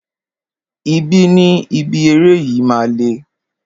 Ibi ni ibi eré yìí máa le.